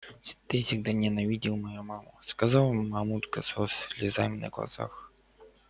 ты всегда ненавидел мою маму сказала мамулька со слезами на глазах